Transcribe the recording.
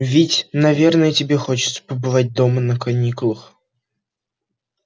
ведь наверное тебе хочется побывать дома на каникулах